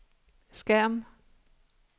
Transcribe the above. skærm